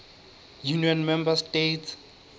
union member states